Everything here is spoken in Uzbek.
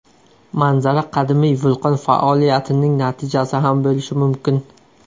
Manzara qadimiy vulqon faoliyatining natijasi ham bo‘lishi mumkin.